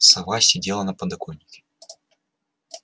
сова сидела на подоконнике